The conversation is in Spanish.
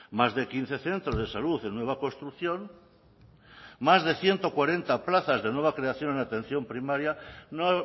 más de quince centros de salud en nueva construcción más de ciento cuarenta plazas de nueva creación en atención primaria no